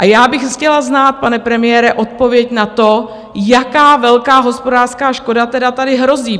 A já bych chtěla znát, pane premiére, odpověď na to, jaká velká hospodářská škoda tady tedy hrozí.